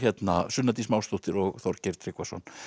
Sunna Dís Másdóttir og Þorgeir Tryggvason